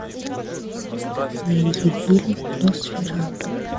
найди фильм носферату